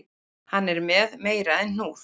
Hann er með meira en hnúð